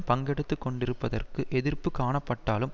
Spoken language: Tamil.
பங்கெடுத்து கொண்டிருப்பதற்கு எதிர்ப்பு காணப்பட்டாலும்